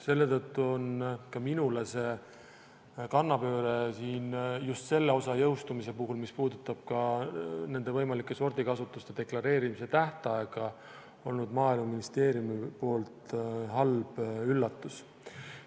Selle tõttu on see kannapööre siin – just selle osa jõustumise puhul, mis puudutab ka nende võimalike sordikasvatuste deklareerimise tähtaega – minu arvates olnud Maaeluministeeriumilt halb üllatus.